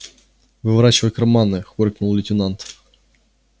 выворачивай карманы хоркнул лейтенант